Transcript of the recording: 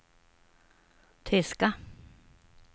tyska